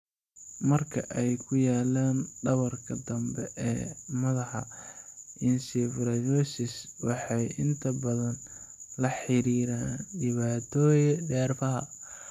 Marka ay ku yaalaan dhabarka dambe ee madaxa, encephaloceles waxay inta badan la xiriiraan dhibaatooyinka neerfaha.